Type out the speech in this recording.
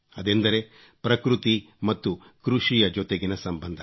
ಅದೆಂದರೆ ಪ್ರಕೃತಿ ಮತ್ತು ಕೃಷಿಯ ಜೊತೆಗಿನ ಸಂಬಂಧ